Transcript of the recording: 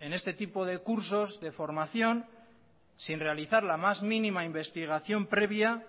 en este tipo de cursos de formación sin realizar la más mínima investigación previa